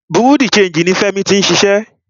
Bureau di changii ní Fẹ́mi tí ń ṣiṣẹ́.